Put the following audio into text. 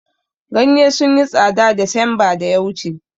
Ganye sun yi tsada desemba da ya wuce